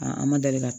an ma deli ka